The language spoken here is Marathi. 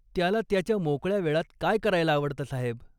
त्याला त्याच्या मोकळ्या वेळात काय करायला आवडतं साहेब?